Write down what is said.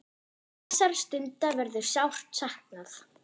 Þessara stunda verður sárt saknað.